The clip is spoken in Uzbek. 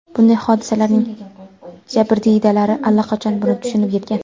Bunday hodisalarning jabrdiydalari allaqachon buni tushunib yetgan.